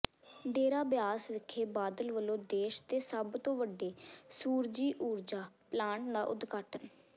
ਡੇਰਾ ਬਿਆਸ ਵਿਖੇ ਬਾਦਲ ਵੱਲੋਂ ਦੇਸ਼ ਦੇ ਸਭ ਤੋਂ ਵੱਡੇ ਸੂਰਜੀ ਊਰਜਾ ਪਲਾਂਟ ਦਾ ਉਦਘਾਟਨ